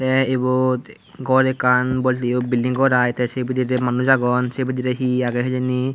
te ebot gor ekkan bolteyo bilding gor i te se bidire manus agon se bidire he hihi agey hijeni.